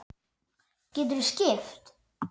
Geturðu skipt?